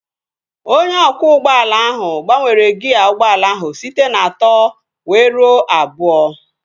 Onye ọkwọ ụgbọala ahụ gbanwere gịa ụgbọala ahụ site na atọ wee ruo abụọ